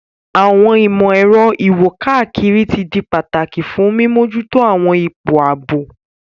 Àwọn ìmò-èro iwo-kakiri ti di pataki fun mimojuto àwọn ipo aabo.